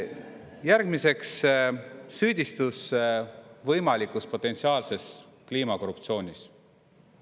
Järgmiseks, süüdistus võimalikus potentsiaalses kliimakorruptsioonis.